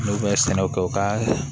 N'u bɛ sɛnɛw kɛ u ka